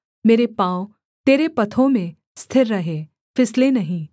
मेरे पाँव तेरे पथों में स्थिर रहे फिसले नहीं